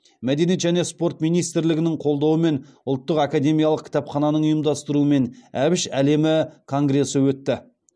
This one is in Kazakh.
мәдениет және спорт министрлігінің қолдауымен ұлттық академиялық кітапхананың ұйымдастыруымен әбіш әлемі конгресі өтті